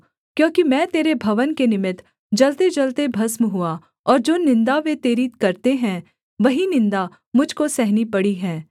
क्योंकि मैं तेरे भवन के निमित्त जलतेजलते भस्म हुआ और जो निन्दा वे तेरी करते हैं वही निन्दा मुझ को सहनी पड़ी है